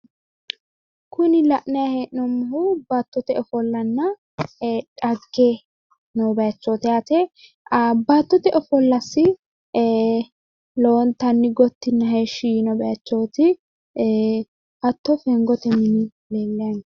Kuni la'nayi hee'noommohu baattote ofollanna dhagge noo bayiichoooti yaate baattote ofollasi lowonatnni gottinna heeshshi yiino bayichooti hatto fengote mini leellayi no.